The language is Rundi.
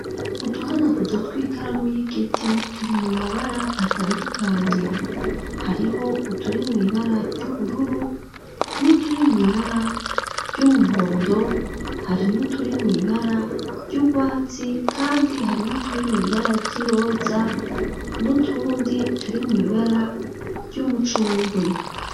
Uduhanaguzo tw'ikaramu y'igiti turi mu mabara atandukanye. Hariho uturi mw'ibara ry'ubururu, n'uturi mw'ibara ry'umuhondo, hari n'uturi mw'ibara ry'urwatsi kandi hari n'uturi mw'ibara ry'iroza n'utundi turi mw'ibara ry'umucungwe.